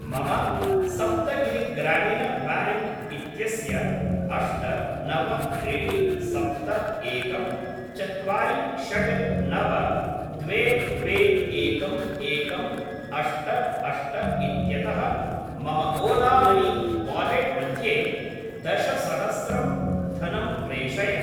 मम सप्तगिरि ग्रामिन् ब्याङ्क् इत्यस्य अष्ट नव त्रीणि सप्त एकं चत्वारि षट् नव द्वे द्वे एकम् एकम् अष्ट अष्ट इत्यतः मम ओला मनी वालेट् मध्ये दश सहस्रं धनं प्रेषय।